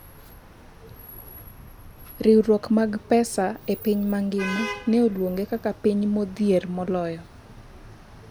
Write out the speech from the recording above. riwruok mag pesa e piny mangima ne oluonge kaka piny modhier moloyo